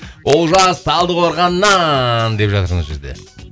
олжас талдықорғаннан деп жазды мына жерде